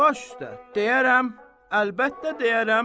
Baş üstə, deyərəm, əlbəttə deyərəm.